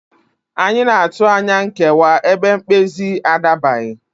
Anyị ga-atụ anya nkewa ebe mkpezi a adabaghị